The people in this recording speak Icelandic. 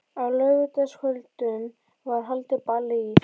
Á laugardagskvöldum var haldið ball í